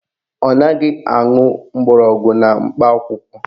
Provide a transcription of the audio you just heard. Ọ naghị aṅụ mgbọrọgwụ na mkpa akwụkwọ